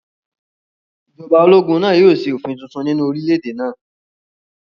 Ìjọba ológun náà yóò ṣe òfin tuntun nínú orílẹ̀-èdè náà